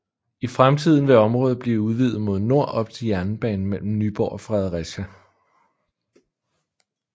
I fremtiden vil området blive udvidet mod nord op til jernbanen mellem Nyborg og Fredericia